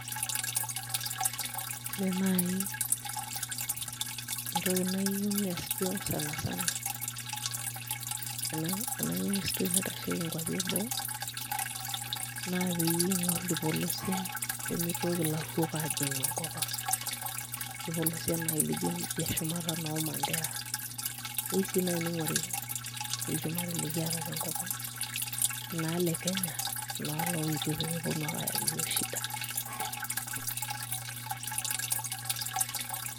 Ore nai entoki nayieu nees duo sanasana ena ministry naitasheki nkwapi eboo, naa peyie ing'or irpolosien pemitoki ilarruok ajing'u enkop ang. Irpolosien nai lijo lidia shumata noo Mandera, keu si nai ning'ori ilchumari likiata tenkop ang, enaa le Kenya, enaa loetuo pemeponu ake ayaki yiok shida.